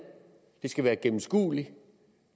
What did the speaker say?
det skal være en gennemskuelig